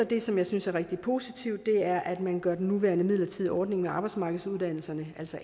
det som jeg synes er rigtig positivt og det er at man gør den nuværende midlertidige ordning med arbejdsmarkedsuddannelserne altså